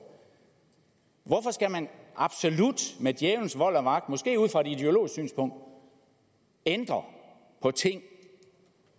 hvorfor skal man med djævelens vold og magt måske ud fra et ideologisk synspunkt ændre på ting